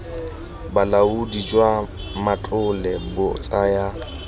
bolaodi jwa matlole bo tsaya